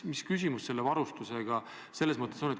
Mis küsimus selle varustusega ikkagi on?